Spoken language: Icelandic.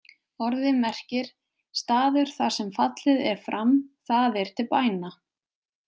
Orðið merkir „staður þar sem fallið er fram“, það er til bæna.